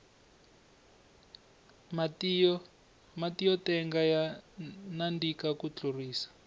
matiyo tenga ya nandika ku tlurisa